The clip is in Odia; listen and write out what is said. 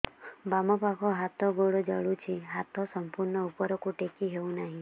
ବାମପାଖ ହାତ ଗୋଡ଼ ଜଳୁଛି ହାତ ସଂପୂର୍ଣ୍ଣ ଉପରକୁ ଟେକି ହେଉନାହିଁ